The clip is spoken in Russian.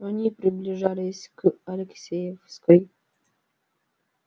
они приближались к алексеевской